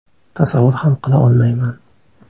Tasavvur ham qila olmayman.